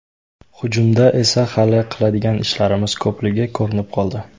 Hujumda esa hali qiladigan ishlarimiz ko‘pligi ko‘rinib qoldi.